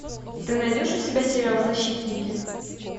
ты найдешь у себя сериал защитники